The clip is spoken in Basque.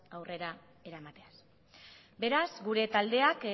aurrera eramateaz beraz gure taldeak